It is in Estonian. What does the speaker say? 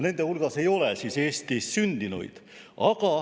Nende hulgas ei ole Eestis sündinuid.